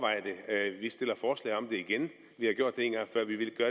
det igen vi har gjort